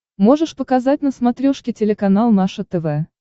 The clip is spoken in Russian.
можешь показать на смотрешке телеканал наше тв